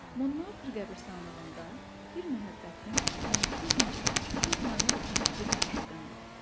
Monmartr qəbirstanlığında bir məhəbbətim, məni çox incitmiş, çox narahat etmiş bir məşuqəm var.